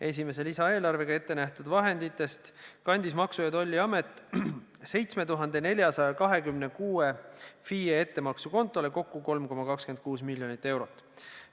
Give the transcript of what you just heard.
Esimese lisaeelarvega ette nähtud vahenditest kandis Maksu- ja Tolliamet 7426 FIE ettemaksukontole kokku 3,26 miljonit eurot.